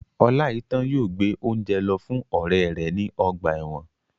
Oláitan yóò gbé óúnjẹ lọ fún ọrẹ rẹ ní ọgbà ẹ̀wọ̀n